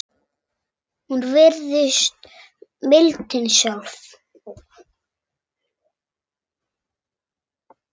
Hún virðist mildin sjálf.